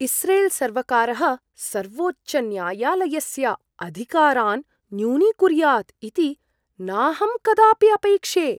इस्रेल्सर्वकारः सर्वोच्चन्यायालयस्य अधिकारान् न्यूनीकुर्यात् इति नाहं कदापि अपैक्षे।